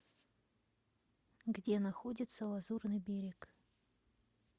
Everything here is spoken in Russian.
где находится лазурный берег